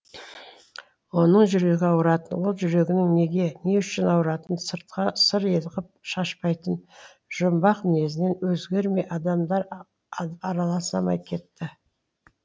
оның жүрегі ауратын ол жүрегінің неге не үшін ауратынын сыртқа сыр ғып шашпайтын жұмбақ мінезінен өзгермей адамдар араласалмай кетті